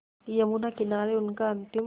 यमुना किनारे उनका अंतिम